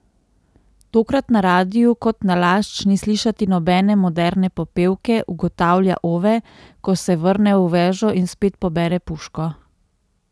Tokrat na radiu kot nalašč ni slišati nobene moderne popevke, ugotavlja Ove, ko se vrne v vežo in spet pobere puško.